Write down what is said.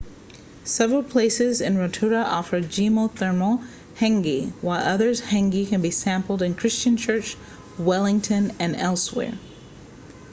several places in rotorua offer geothermal hangi while other hangi can be sampled in christchurch wellington and elsewhere